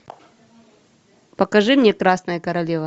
покажи мне красная королева